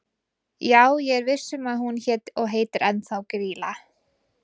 Já ég er viss um að hún hét og heitir ennþá Grýla.